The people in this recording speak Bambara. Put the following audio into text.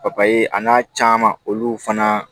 papaye a n'a caman olu fana